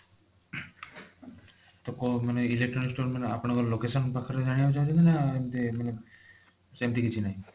ତ କୋଊ ବି electronics store ଆପଣଙ୍କ location ପାଖରୁ ଜାଣିବାକୁ ଚାହୁଁଛନ୍ତି ନା ଏମିତି ମାନେ ସେମିତି କିଛି ନାହିଁ